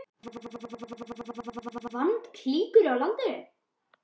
Að henni standa engar valdaklíkur í landinu.